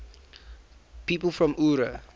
people from eure